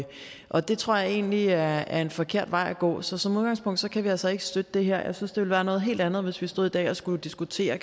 og det tror jeg egentlig er en forkert vej at gå så som udgangspunkt kan vi altså ikke støtte det her jeg synes det ville være noget helt andet hvis vi stod i dag og skulle diskutere